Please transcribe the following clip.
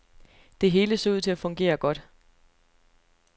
Det hele så ud til at fungere godt.